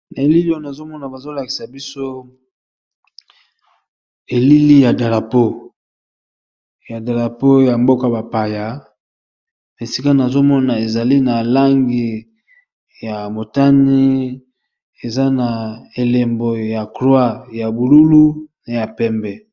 na elili ono azomona bazolakisa biso elili ya dalapo ya mboka bapaya esika nazomona ezali na langi ya motani eza na elembo ya croat ya bululu na ya pembe